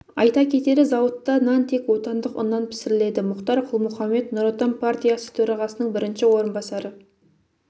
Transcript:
айта кетері зауытта нан тек отандық ұннан пісіріледі мұхтар құл-мұхаммед нұр отан партиясы төрағасының бірінші орынбасары